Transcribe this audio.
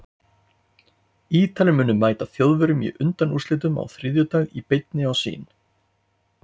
Ítalir munu mæta Þjóðverjum í undanúrslitunum á þriðjudag í beinni á Sýn.